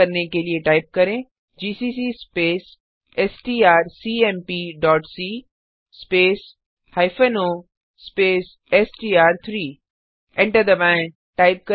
compile करने के लिए टाइप करेंgcc स्पेस strcmpसी स्पेस हाइफेन ओ स्पेस एसटीआर3 एंटर दबाएँ